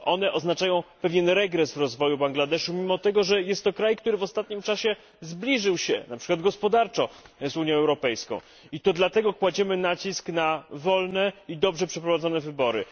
Oznaczają one pewien regres w rozwoju Bangladeszu, mimo tego, że jest to kraj, który w ostatnim czasie zbliżył się, na przykład gospodarczo, do Unii Europejskiej. Dlatego też kładziemy nacisk na wolne i dobrze przeprowadzone wybory.